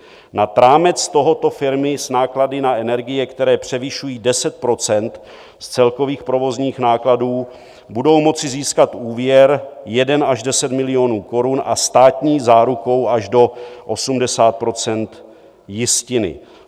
Nad rámec tohoto firmy s náklady na energie, které převyšují 10 % z celkových provozních nákladů, budou moci získat úvěr 1 až 10 milionů korun a státní záruku až do 80 % jistiny.